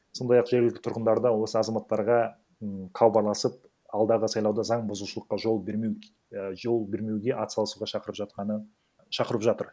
сондай ақ жергілікті тұрғындар да осы азаматтарға м хабарласып алдағы сайлауда заң бұзушылыққа жол бермеу і жол бермеуге ат салысуға шақырып жатканы шақырып жатыр